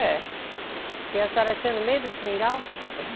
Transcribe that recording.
É. E a senhora tinha no meio do Seringal?